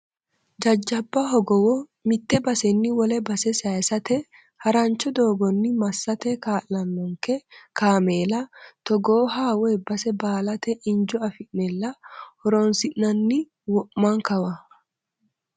Jajjabba hogowo mite baseni wole base saysate harancho doogonni massate kaa'lanonke kaameella togooha woyi base baallate injo affi'nella horonsi'nanni wo'mankawa.